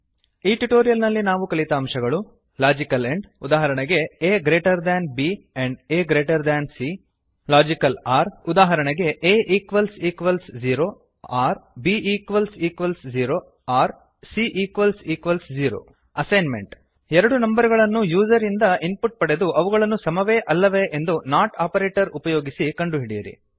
ಈ ಟ್ಯುಟೋರಿಯಲ್ ನಲ್ಲಿ ನಾವು ಕಲಿತ ಅಂಶಗಳು ಲಾಜಿಕಲ್ ಎಂಡ್ ಉದಾಹರಣೆಗೆ a greater than b and a greater than c logical or ಉದಾಹರಣೆಗೆ a equals equals zero or b equals equals zero or c equals equals zero assignment ಎರಡು number ಗಳನ್ನು user ಇಂದ input ಪಡೆದು ಅವುಗಳು ಸಮವೇ ಆಲ್ಲವೇ ಎಂದು ನಾಟ್ ಆಪರೇಟರ್ ಉಪಯೋಗಿಸಿ ಕಂಡುಹಿಡಿಯಿರಿ